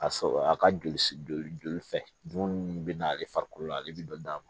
Ka sɔrɔ a ka joli joli fɛ dumuni min bɛ na ale farikolo la ale bɛ dɔ d'a ma